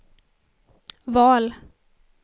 val